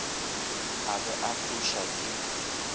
a be a fuša ke